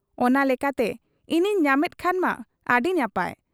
ᱚᱱᱟ ᱞᱮᱠᱟᱛᱮ ᱤᱧᱤᱧ ᱧᱟᱢᱮᱫ ᱠᱷᱟᱱ ᱢᱟ ᱟᱹᱰᱤ ᱱᱟᱯᱟᱭ ᱾